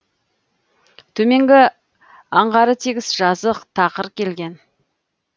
төменгі аңғары тегіс жазық тақыр келген